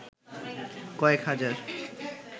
কয়েক হাজার